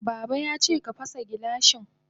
Baba yace ka fasa gilashin.